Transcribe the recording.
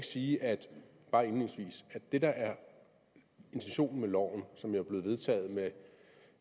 sige at det der er intentionen med loven som jo er blevet vedtaget af